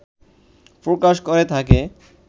প্রকাশ করে থাকে